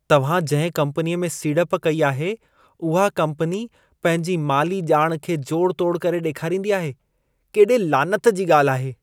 तव्हां जंहिं कम्पनीअ में सीड़प कई आहे, उहा कम्पनी पंहिंजी माली ॼाण खे जोड़-तोड़ करे ॾेखारींदी आहे। केॾे लानत जी ॻाल्हि आहे!